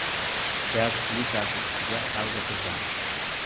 Gaz plitasi ustiga folga to‘shang.